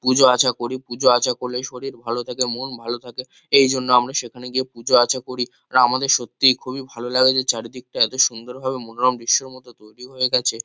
পুজো আর্চা করি। পুজো আর্চা করলে শরীর ভালো থাকে মন ভালো থাকে। এই জন্য আমরা সেখানে গিয়ে পুজো আর্চা করি। রা আমাদের সত্যি খুবই ভালো লাগে যে চারিদিকটা এতো সুন্দর ভাবে মনোরম দৃশ্যর মতো তৈরী হয়ে গেছে।